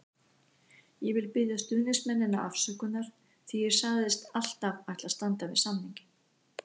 Ég vil biðja stuðningsmennina afsökunar því ég sagðist alltaf ætla að standa við samninginn.